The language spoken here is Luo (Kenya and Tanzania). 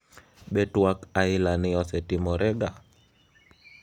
Be twak aila ni osetimore ga?